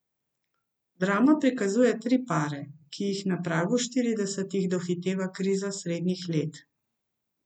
Drama prikazuje tri pare, ki jih na pragu štiridesetih dohiteva kriza srednjih let.